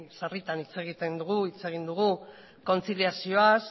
sarritan hitz egiten dugu hitz egin dugu kontziliazioaz